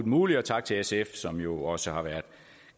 muligt og tak til sf som jo også har været